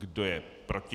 Kdo je proti?